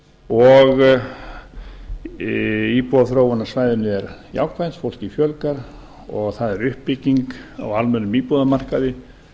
og íbúaþróun á svæðinu er jákvæð fólki fjölgar og það er uppbygging á almennum íbúðamarkaði